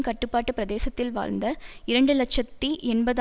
கட்டுப்பாட்டு பிரதேசத்தில் வாழ்ந்த இரண்டு இலட்சத்தி எண்பது